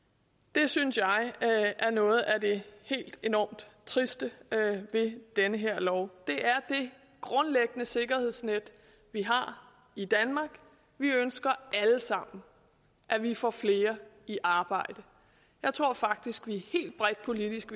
det synes jeg er noget af det helt enormt triste ved den her lov det er det grundlæggende sikkerhedsnet vi har i danmark vi ønsker alle sammen at vi får flere i arbejde jeg tror faktisk at vi helt bredt politisk